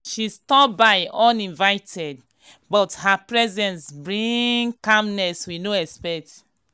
she stop by uninvited but her presence bring um calmness we no expect.